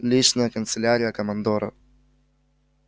личная канцелярия командора